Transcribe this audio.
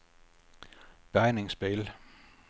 bärgningsbil